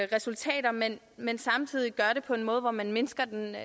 resultater men men samtidig gør det på en måde hvor man mindsker